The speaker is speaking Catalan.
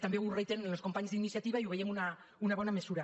també ho reiteren els companys d’iniciativa i ho veiem una bona mesura